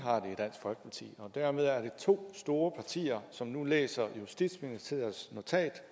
har i dansk folkeparti dermed er der to store partier som nu læser justitsministeriets notat